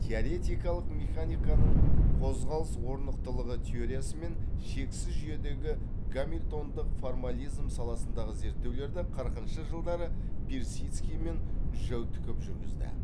теоретикалық механиканың қозғалыс орнықтылығы теориясы мен шексіз жүйедегі гамильтондық формализм саласындағы зерттеулерді қырқыншы жылдары персидский мен жәутіков жүргізді